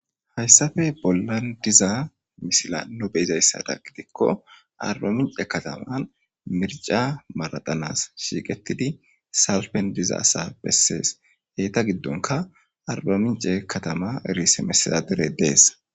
Hayissappe bolani diza misilezani nuni beizaayisadani giddikko ariba mincce kaatama miricca maraxetanasi shiqetidi salippeni diza asa besesi hesa giddonikka irisemasitedadereyi desi